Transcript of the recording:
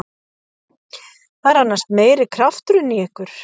Það er annars meiri krafturinn í ykkur.